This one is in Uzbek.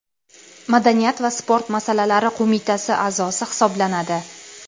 madaniyat va sport masalalari qo‘mitasi a’zosi hisoblanadi.